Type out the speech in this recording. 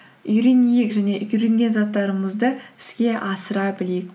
үйренейік және үйренген заттарымызды іске асыра білейік